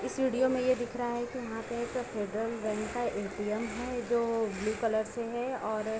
इस वीडियो में ये दिख रहा है कि वहां पे एक फेडरल बैंक का ए.टाी.एम. है जो ब्‍लू कलर से हैं और --